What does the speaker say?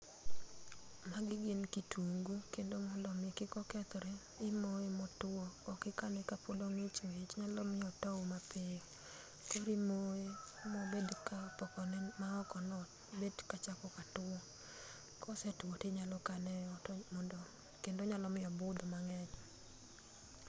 Magi gin kitungu kendo mondo mi kik kethre, imoye motwo, ok ikane kapod ong'ich ng'ich biro miyo otow matin koro imoye ma obed ka pote maokono bet kachako katwo, kosetwo to inyalo kane eot kendo nyalo miyo obudh mang'eny.